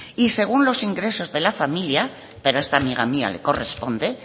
y según los ingresos de la familia pero a esta amiga mía le corresponde